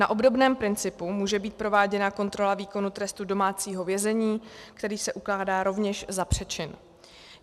Na obdobném principu může být prováděna kontrola výkonu trestu domácího vězení, který se ukládá rovněž za přečin.